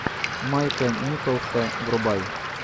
майка николса врубай